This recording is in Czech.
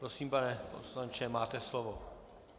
Prosím, pane poslanče, máte slovo.